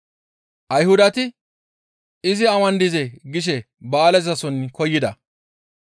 Ayhudati, «Izi awan dizee?» gishe ba7aalezason koyida.